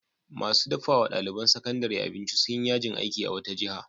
Masu dafa wa ɗaliban sakandare abinci sun yi yajin aiki a wata jiha.